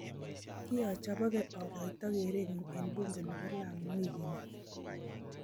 kiochoboge akoito keerenyu eng bunge nebo Lamu wikini